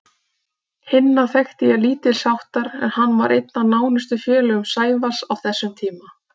Hinna þekkti ég lítilsháttar en hann var einn af nánustu félögum Sævars á þessum tíma.